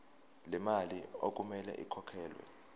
lemali okumele ikhokhelwe